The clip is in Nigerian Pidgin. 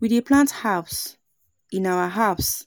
We dey plant herbs in our herbs